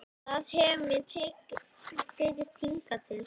Það hefur mér tekist hingað til.